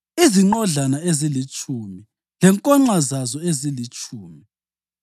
izinqodlana ezilitshumi lenkonxa zazo ezilitshumi;